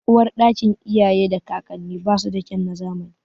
Uwarɗakin iyaye da kakanni ba su da kyan na zamani.